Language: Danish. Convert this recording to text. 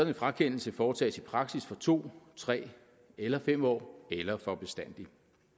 en frakendelse foretages i praksis for to tre eller fem år eller for bestandig